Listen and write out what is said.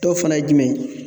Dɔw fana ye jumɛn ye?